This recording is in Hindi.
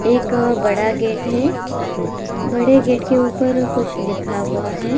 एक बडा गेट है बड़े गेट के ऊपर कुछ लिखा हुआ है।